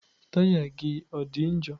Taya gị ọ dị njọ?